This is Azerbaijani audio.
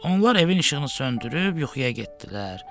Onlar evin işığını söndürüb yuxuya getdilər.